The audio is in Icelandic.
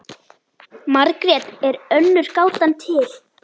Margrét er önnur gátan til.